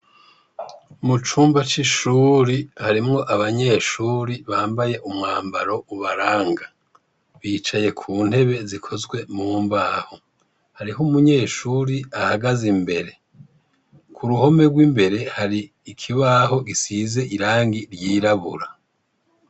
Mu cumba c'ishuri, harimwo abanyeshure bambaye umwambaro ubaranga. Bicaye ku ntebe zikozwe mu mbaho. Hariho umunyeshure ahagaze imbere. Ku ruhome rw'imbere hari ikibaho gisize irangi ryirabura.